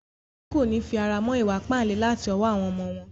Àwọn òbí kòní fi ara mọ́ ìwa ìpáǹle láti ọwọ́ àwọn ọmọ wọn.